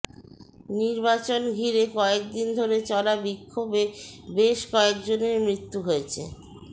নির্বাচন ঘিরে কয়েকদিন ধরে চলা বিক্ষোভে বেশ কয়েকজনের মৃত্যু হয়েছে